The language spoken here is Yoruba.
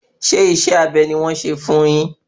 Ṣé isẹ́ abẹ ni wọ́n ṣe fún un yin?